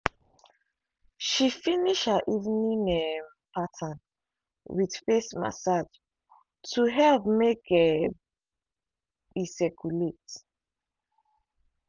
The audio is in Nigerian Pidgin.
she finish her evening um pattern with face massage to help make um e circulate.